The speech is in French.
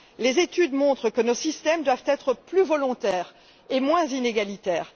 Les études montrent que nos systèmes doivent être plus volontaires et moins inégalitaires.